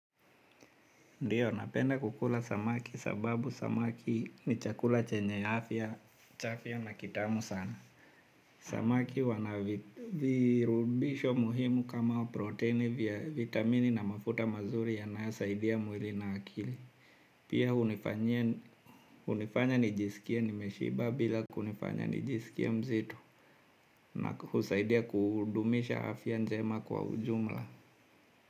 Ndiyo, napenda kukula samaki sababu samaki ni chakula chenye afya, cha afya na kitamu sana. Samaki wana virutubisho muhimu kama proteini vya vitamini na mafuta mazuri yanasaidia mwili na akili. Pia hunifanya nijisikie nimeshiba bila kunifanya nijisikie mzitu na husaidia kudumisha afya njema kwa ujumla.